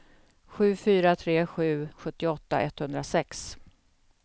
sju fyra tre sju sjuttioåtta etthundrasex